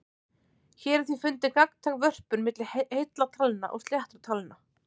Hér er því fundin gagntæk vörpun milli heilla talna og sléttra talna.